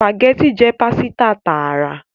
Spaghetti jé pàsìta tààrà